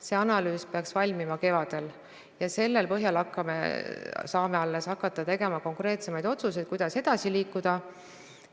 See analüüs peaks valmima kevadel ja alles selle põhjal saame hakata tegema konkreetsemaid otsuseid, kuidas edasi liikuda.